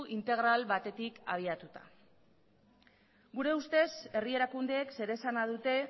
integral batetik abiatuta gure ustez herri erakundeek zeresana dute